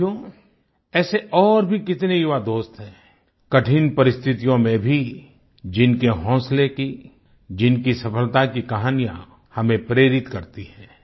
साथियो ऐसे और भी कितने युवा दोस्त हैं कठिन परिस्थितियों में भी जिनके हौसलें की जिनकी सफलता की कहानियाँ हमें प्रेरित करती हैं